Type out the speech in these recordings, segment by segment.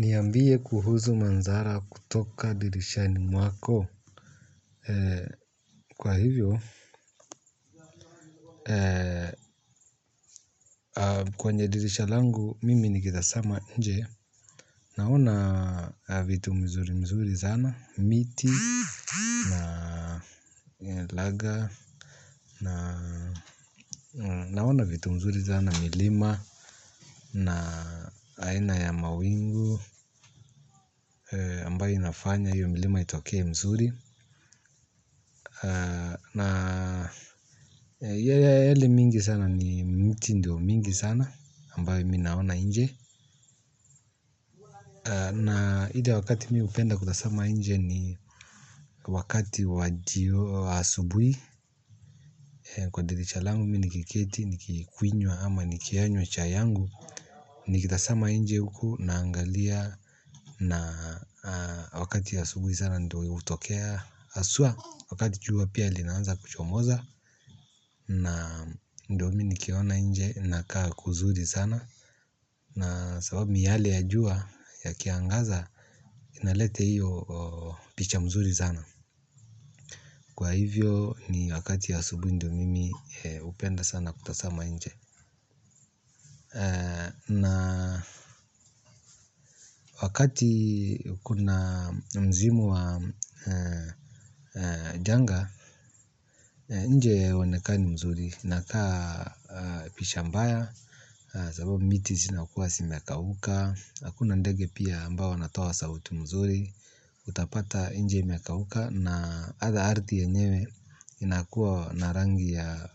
Niambie kuhusu manzara kutoka dirishani mwako kwa hivyo. Kwenye dirisha langu mimi nikieza simama nje naona vitu mzuri mzuri sana miti na naona vitu mzuri sana milima na aina ya mawingu ambayo inafanya hiyo milima itoke mzuri. Na yale mingi sana ni mti ndio mingi sana ambayo mi naona nje. Na ile wakati mi hupenda kutasama nje ni wakati wajio asubuhi. Kwa dirisha langu mi nikiketi nikikwinywa ama nikiyanywa chai yangu nikitazama nje je huku naangalia. Na wakati asubuhi sana ndio hutokea haswa. Wakati jua pia linaanza kuchomoza. Na ndo mi nikiona nje nakaa kuzuri sana. Na sababu miale ya jua yakiangaza inaleta hiyo picha mzuri sana. Kwa hivyo ni wakati wa asubuhi ndo mimi hupenda sana kutasama nje. Na wakati kuna msimu wa janga nje hauonekani mzuri nakaa picha mbaya sababu miti zinakuwa zimekauka hakuna ndege pia ambao wanatoa sauti mzuri utapata nje imekauka na hata ardhi yenyewe inakuwa na rangi ya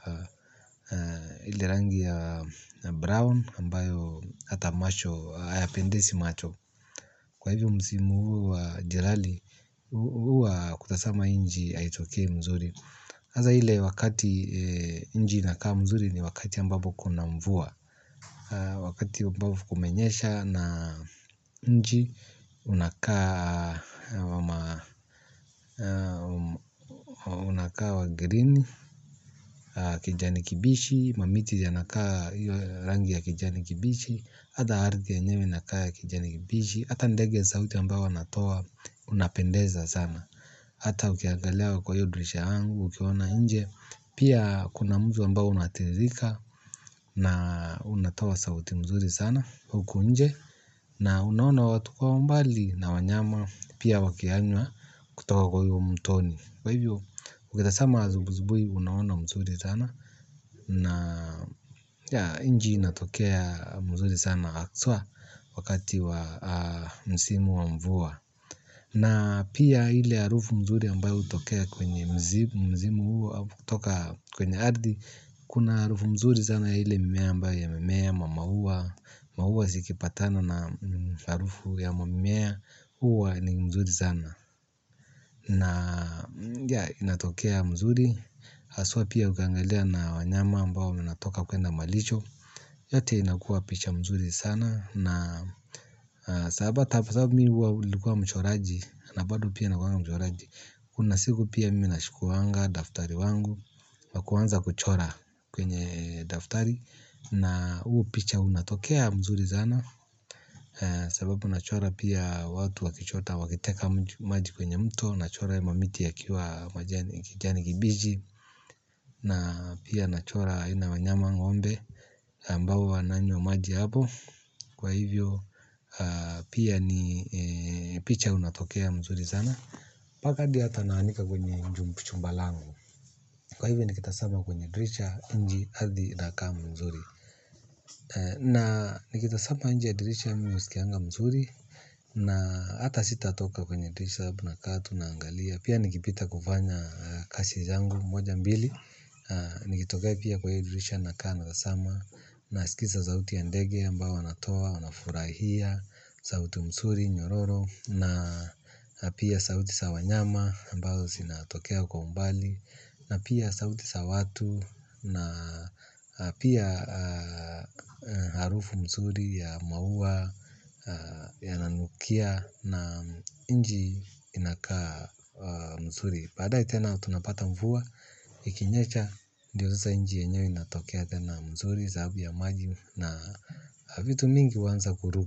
rangi ya brown ambayo hata macho hayapendezi macho kwa hivyo msimu huu wa jirali huu wa kutasama nji haitokei mzuri haza ile wakati nji inakaa mzuri ni wakati ambapo kuna mvua. Wakati ambapo kumenyesha na nji unakaa wa green kijani kibichi. Mamiti yanakaa rangi ya kijani kibichi hata ardhi yenyewe inakaa ya kijani kibichi hata ndege sauti ambayo wanatoa unapendeza sana. Ata ukiangalia kwa hiyo dirisha yangu ukiona nje. Pia kuna mvi ambao unatiririka na unatoa sauti mzuri sana. Huku nje na unaona watu kwa mbali na wanyama pia wakiyanywa kutoka kwa huo mtoni. Kwa hivyo ukitasama azubuzubui unaona mzuri sana. Na nji inatokea mzuri sana haswa wakati wa msimu wa mvua. Na pia ile harufu mzuri ambayo hutokea kwenye mzimu huo au kutoka kwenye ardhi kuna harufu mzuri sana ile mimea ambayo yamemea ma maua. Maua zikipatana na harufu ya mamimea huwa ni mzuri sana. Na ya inatokea mzuri haswa pia ukiangalia na wanyama ambao unatoka kwenda malisho. Yote inakuwa picha mzuri sana. Na sababu sababu mi nlikuwa mchoraji. Na bado pia nakuanga mchoraji. Kuna siku pia mi nachukuanga daftari wangu. Na kuanza kuchora kwenye daftari. Na huu picha unatokea mzuri sana. Sababu nachora pia watu wakichota wakiteka maji kwenye mto. Nachora mamiti yakiwa kijani kibichi na pia nachora aina ya wanyama ngombe ambao wananywa maji hapo. Kwa hivyo pia ni picha unatokea mzuri sana. Paka hadi hata naandika kwenye chumba langu. Kwa hivyo nikitazama kwenye dirisha nchi ardhi inakaa mzuri. Na nikitasama nje ya dirisha mimi husikianga mzuri. Na hata sitatoka kwenye dirisha sababu tunakaa tunaangalia pia nikipita kufanya kazi zangu moja mbili. Nikitokea pia kwa hiyo dirisha nakaa na hasama. Naskisa sauti ya ndege ambao wanatoa, wanafurahia sauti msuri, nyororo. Na pia sauti za wanyama ambazo zinatokea kwa umbali. Na pia sauti za watu. Na pia harufu mzuri ya maua yananukia na nchi inakaa mzuri badae tena tunapata mvu. Ikinyesha ndiyo sasa nchi yenyewe inatokea tena mzuri sababu ya maji na vitu mingi huanza kuruku.